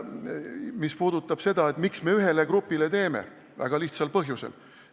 Mis puudutab seda, miks me ühele grupile eelise teeme, siis väga lihtsal põhjusel.